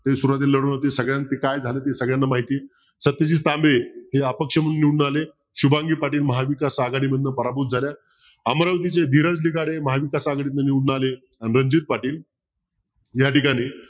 तरी सुरवातीला लढवली होती सगळ्यांचं काय झालं ते सगळ्यांना माहिती सत्यजित तांबे हे अपक्ष म्हणून निवडून आले. शुभांगी पाटील महाविकास आघाडी मधनं पराभूत झाल्या. अमरावतीचे धीरज निगाडे महाविकास आघाडीतनं निवडून आले. रणजित पाटील या ठिकाणी